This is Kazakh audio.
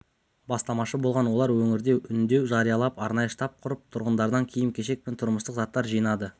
бастамашы болған олар өңірде үндеу жариялап арнайы штаб құрып тұрғындардан киім-кешек пен тұрмыстық заттар жинады